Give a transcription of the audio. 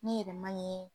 Ne yɛrɛ man ɲi